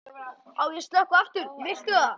Á ég að slökkva aftur, viltu það?